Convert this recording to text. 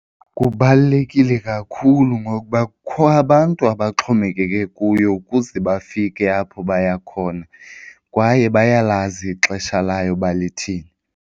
Kubalulekile kakhulu ngokuba kukho abantu abaxhomekeke kuyo ukuze bafike apho baya khona kwaye bayalazi ixesha layo uba lithini.